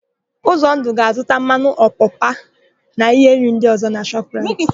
Ụzọndụ ga-azụta mmanụ ọpapa na íhé nri ndị ọ̀zọ́ na Shọp raịt.